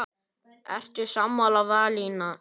Ertu sammála valinu?